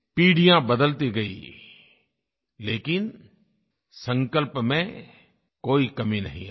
पीढ़ियाँ बदलती गईं लेकिन संकल्प में कोई कमी नहीं आई